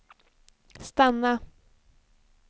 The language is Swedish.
stanna